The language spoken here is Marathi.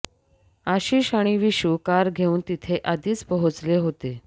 आशीष आणि वीशू कार घेऊन तिथे आधीच पोहोचले होते